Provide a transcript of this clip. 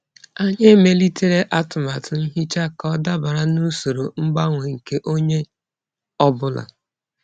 Anyị emelitere atụmatụ nhicha ka ọ dabara n'usoro mgbanwe nke onye ọ bụla.